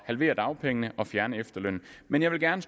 halvere dagpengene og fjerne efterlønnen men jeg vil gerne